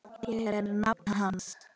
Ég er nafni hans.